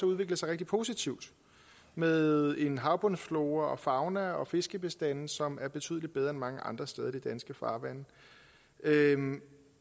udvikle sig rigtig positivt med en havbundsflora og fauna og fiskebestande som er betydelig bedre end mange andre steder i de danske farvande